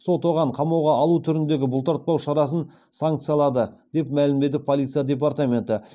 сот оған қамауға алу түріндегі бұлтартпау шарасын санкциялады деп мәлімдеді полиция департаменті